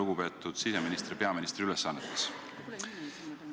Lugupeetud siseminister peaministri ülesannetes!